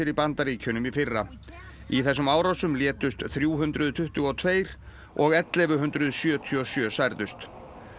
í Bandaríkjunum í fyrra í þessum árásum létust þrjú hundruð tuttugu og tveir og ellefu hundruð sjötíu og sjö særðust